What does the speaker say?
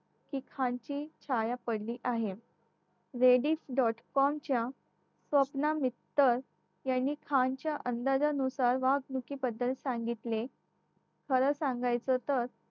की खानची छाया पडली आहे ladies dot com च्या स्वप्ना मित्तल यांनी खानाच्या अंदाजानुसार वागणुकीबद्दल सांगितले खरं सांगायचं तर